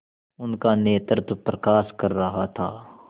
उनका नेतृत्व प्रकाश कर रहा था